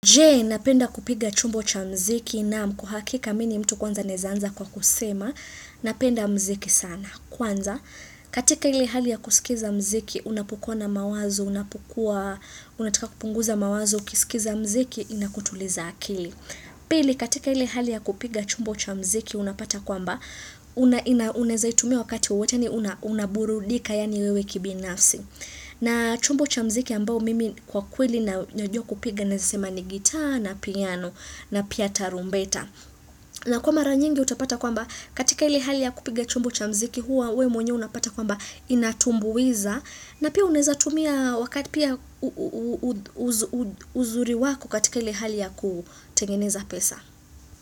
Je, napenda kupiga chumbo cha mziki na mkuhakika mini mtu kwanza nezanza kwa kusema, napenda mziki sana. Kwanza, katika ili hali ya kusikiza mziki, unapukua na mawazo, unapukua, unatika kupunguza mawazo, kisikiza mziki, inakutuliza akili. Pili, katika ili hali ya kupiga chumbo cha mziki, unapata kwamba, unazaitumia wakati uwetani unaburudika, yani wewe kibinafsi. Na chumbo chamziki ambao mimi kwa kweli na nyojua kupiga nesema ni gita na piano na piyata rumbeta. Na kwa mara nyingi utapata kwamba katika ili hali ya kupiga chumbo chamziki huwa ue mwenye unapata kwamba inatumbuiza. Na pia uneza tumia wakati pia uzuri waku katika ili hali ya kutengeneza pesa.